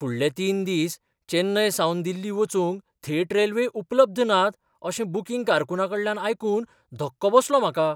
फुडले तीन दिस चेन्नईसावन दिल्ली वचूंक थेट रेल्वे उपलब्ध नात अशें बुकींग कारकुनाकडल्यान आयकून धक्को बसलो म्हाका.